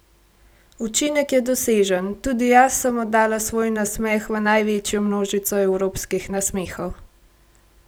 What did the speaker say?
Učinek je dosežen, tudi jaz sem oddala svoj nasmeh v največjo množico evropskih nasmehov!